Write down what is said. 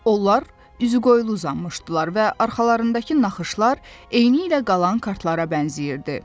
Onlar üzüqoyulu uzanmışdılar və arxalarındakı naxışlar eynilə qalan kartlara bənzəyirdi.